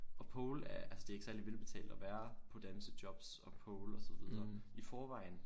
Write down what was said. Og pole er altså det er ikke særligt velbetalt at være på dansejobs og pole og så videre i forvejen